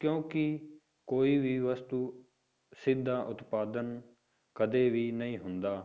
ਕਿਉਂਕਿ ਕੋਈ ਵੀ ਵਸਤੂ ਸਿੱਧਾ ਉਤਪਾਦਨ ਕਦੇ ਵੀ ਨਹੀਂ ਹੁੰਦਾ,